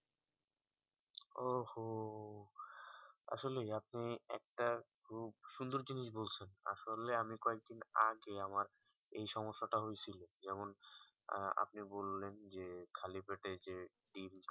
ও হো আসলে আপনি একটা খুব সুন্দর জিনিস বলছো আসলে আমি কয়েক দিন আগে আমার এই সমস্যা তা হয়েছিল যেমন আহ আপনি বললেন যে খালি পেতে যে ডিম্